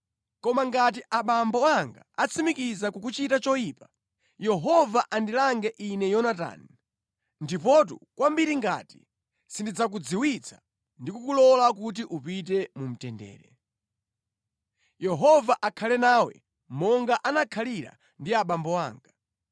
Koma ngati abambo anga atsimikiza kukuchita choyipa, Yehova andilange ine Yonatani, ndipotu kwambiri ngati sindidzakudziwitsa ndi kukulola kuti upite mu mtendere. Yehova akhale nawe monga anakhalira ndi abambo anga.